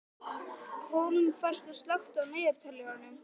Hólmfastur, slökktu á niðurteljaranum.